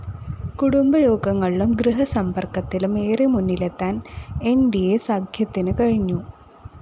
കുടുംബയോഗങ്ങളിലും ഗൃഹസമ്പര്‍ക്കത്തിലും ഏറെ മുന്നിലെത്താന്‍ ന്‌ ഡി അ സഖ്യത്തിന് കഴിഞ്ഞു